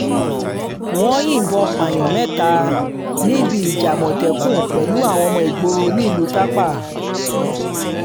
wọ́n yìnbọn pààyàn mẹ́ta níbi ìjà àmọ̀tẹ́kùn pẹ̀lú àwọn ọmọ ìgboro nílùú tápà